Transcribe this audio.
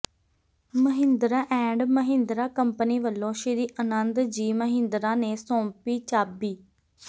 Mahindra and Mahindra company ਵੱਲੋਂ ਸ੍ਰੀ ਅਨੰਦ ਜੀ ਮਹਿੰਦਰਾ ਨੇ ਸੌੰਪੀ ਚਾਬੀ